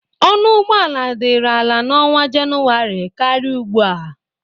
Ọnụ ụgbọ ala dịrị ala na ọnwa Jenụwarị karị ugbu a.